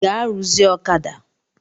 Gaa ruzie ọ̣kada!